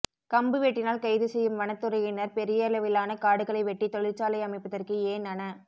கம்பு வெட்டினால் கைதுசெய்யும் வனத்துறையினர் பெரியளவிலான காடுகளை வெட்டி தொழிற்சாலை அமைப்பதற்கு ஏன் அன